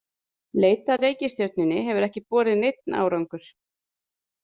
Leit að reikistjörnunni hefur ekki borið neinn árangur.